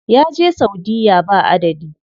Ya je saudiya ba adadi.